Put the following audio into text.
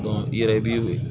i yɛrɛ i b'i wele